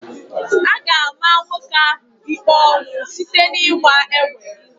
A ga-ama nwoke ahụ ikpe ọnwụ site n'ịgba egbe.